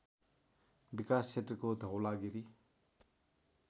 विकास क्षेत्रको धवलागिरी